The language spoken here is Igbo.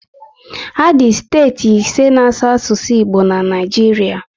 Adị steeti ise na asụ asụsụ Igbo na Naijiria